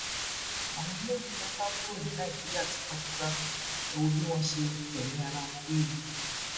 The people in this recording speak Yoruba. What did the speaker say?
àwọn eléyìí fẹẹ sá kúrò ní nàìjíríà tipátipá ẹ wo bí wọn ṣe fẹmí ara wọn wewu